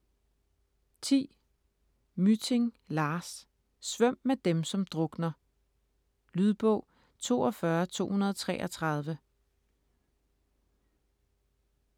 Mytting, Lars: Svøm med dem som drukner Lydbog 42233